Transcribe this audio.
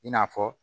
I n'a fɔ